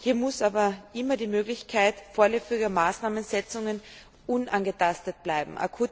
Hier muss aber immer die Möglichkeit vorläufiger Maßnahmensetzungen unangetastet bleiben.